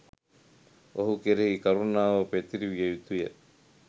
ඔහු කෙරෙහි කරුණාව පැතිරවිය යුතු ය.